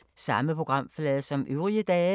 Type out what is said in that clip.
Samme programflade som øvrige dage